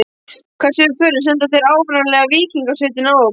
Hvert sem við förum senda þeir áreiðanlega víkingasveitirnar á okkur.